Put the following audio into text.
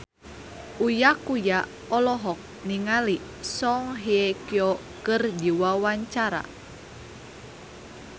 Uya Kuya olohok ningali Song Hye Kyo keur diwawancara